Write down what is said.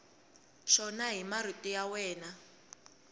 xona hi marito ya wena